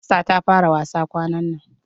Hafsa ta fara wasa kwanan nan.